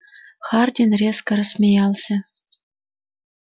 хардин резко рассмеялся